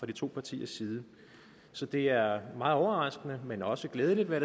de to partiers side så det er meget overraskende men også glædeligt vil